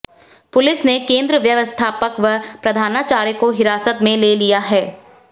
police ने केंद्र व्यवस्थापक व प्रधानाचार्य को हिरासत में ले लिया है